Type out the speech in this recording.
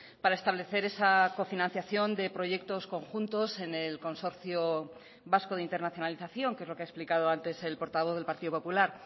para establecer esa cofinanciación de proyectos conjuntos en el consorcio vasco de internacionalización que es lo que ha explicado antes el portavoz del partido popular